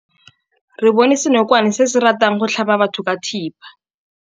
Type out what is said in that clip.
Re bone senokwane se se ratang go tlhaba batho ka thipa.